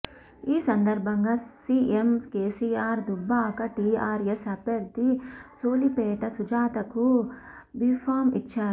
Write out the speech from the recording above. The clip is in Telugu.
ఈ సందర్భంగా సిఎం కెసిఆర్ దుబ్బాక టిఆర్ఎస్ అభ్యర్థి సోలిపేట సుజాతకు బిఫామ్ ఇచ్చారు